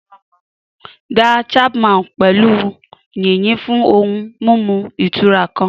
Da Chapman pọ̀ pẹ̀lú yìnyín fún ohun mímu ìtura kan.